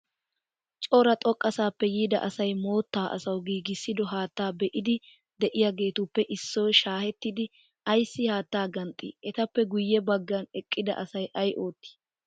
Cora xoqqasappe yiida asay mootta asawu giigissido haataa be''iiddi de''iyaagetuppe issoy shaahettidi ayissi haatta ganxxii? Etappe guyye baggan eqqida asay ayi ootti?